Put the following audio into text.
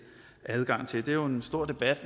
adgang til det er jo en stor debat